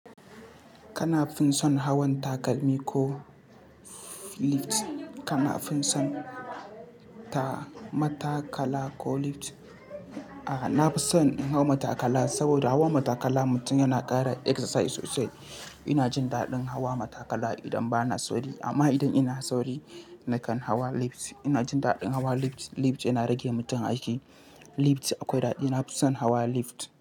Kana fin son hawan takalmi ko lift? Kana fin son ta matakala ko lift? A, na fi son in hau matakala saboda hawan matakala mutum yana ƙara exercise sosai. Ina jin daɗin hawa matakala idan ba na sauri. Amma idan ina sauri, nakan hawa lift. Ina jin daɗin hawa lift. Lift yana rage mutum aiki. Lift akwai daɗi. Na fi son hawa lift.